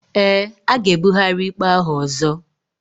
Eé, a ga-ebugharị ikpe ahụ ọzọ.